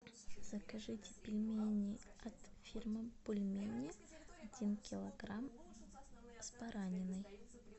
закажите пельмени от фирмы бульмени один килограмм с бараниной